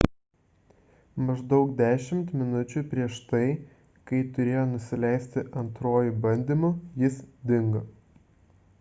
maždaug dešimt minučių prieš tai kai turėjo nusileisti antruoju bandymu jis dingo